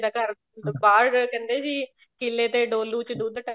ਦਾ ਘਰ ਬਾਹਰ ਕਹਿੰਦੇ ਸੀ ਕਿੱਲੇ ਤੇ ਡੋਲੂ ਚ ਦੁੱਧ